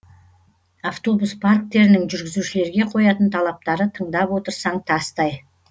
автобус парктерінің жүргізушілерге қоятын талаптары тыңдап отырсаң тастай